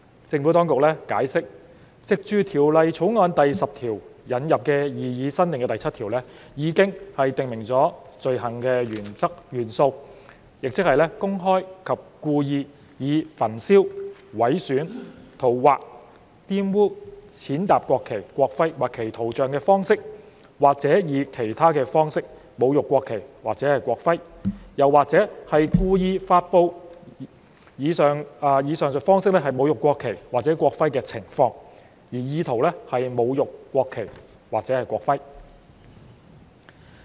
政府當局解釋，藉《條例草案》第10條引入的擬議新訂第7條，已訂明罪行的元素，即是公開及故意以焚燒、毀損、塗劃、玷污、踐踏國旗、國徽或其圖像的方式，或以其他方式，侮辱國旗或國徽，或故意發布以上述方式侮辱國旗或國徽的情況，而意圖是侮辱國旗或國徽。